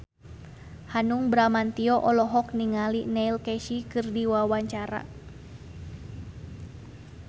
Hanung Bramantyo olohok ningali Neil Casey keur diwawancara